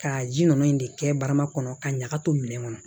Ka ji ninnu in de kɛ barama kɔnɔ ka ɲaga to minɛn kɔnɔ